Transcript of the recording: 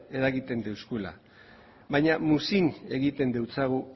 eragiten digula baina muzin egiten diogu